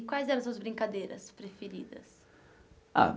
Quais eram suas brincadeiras preferidas? Ah